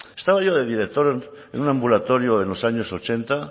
estaba yo de director en un ambulatorio en los años ochenta